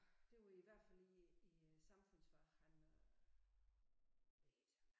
Det var i hvert fald i i øh samfundsfag han øh hvad hed han